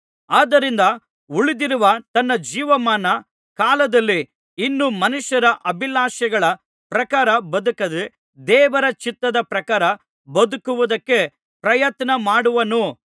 ಆದ್ದರಿಂದ ಉಳಿದಿರುವ ತನ್ನ ಜೀವಮಾನ ಕಾಲದಲ್ಲಿ ಇನ್ನೂ ಮನುಷ್ಯರ ಅಭಿಲಾಷೆಗಳ ಪ್ರಕಾರ ಬದುಕದೆ ದೇವರ ಚಿತ್ತದ ಪ್ರಕಾರ ಬದುಕುವುದಕ್ಕೆ ಪ್ರಯತ್ನಮಾಡುವನು